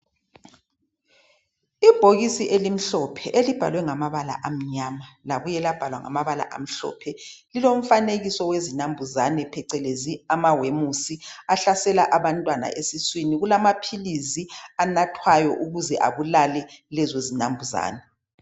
Ibhokisi elibahlwe ngamabala amnyama labuya labhalwa ngamabala amhlophe lilomfanekiso wezinambuzane phecelezi amawemusi ahlasela abantwana esiswini Kulamaphilizi anathwayo ukuze abulale lezo zinambuzane